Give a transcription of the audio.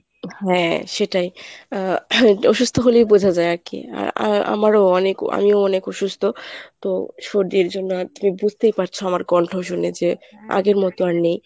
হ্যাঁ সেটাই। আহ অসুস্থ হলেই বোঝা যায় আরকি আ~ আমারও অনেক আমিও অনেক অসুস্থ। তো সর্দির জন্য তুমি বুঝতেই পারছ আমার কন্ঠ শুনে যে আগের মত আর নেই।